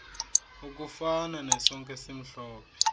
okufana nesonka esimhlophe